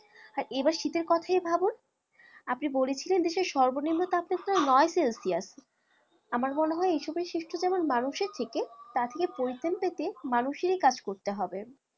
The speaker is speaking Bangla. আর এবার শীতের কথায় ভাবুন আপনি বলেছিলেন দেশের সর্বনিম্ন তাপমাত্রা নয় celsius আপনার মনে হয় এইসবের সৃষ্টি যেমন মানুষের থেকে তাথেকে পরিত্রাণ পেতে মানুষেরই কাজ করতে হবে